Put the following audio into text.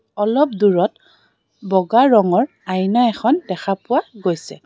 অলপ দূৰত ব'গা ৰঙৰ আইনা এখন দেখা পোৱা গৈছে.